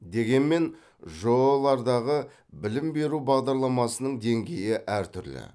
дегенмен жоо лардағы білім беру бағдарламасының деңгейі әртүрлі